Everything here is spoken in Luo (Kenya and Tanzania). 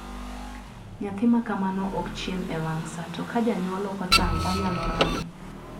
nyathi makamano okchiem e wang` saa to kajanyuol okotang` onyalo ran.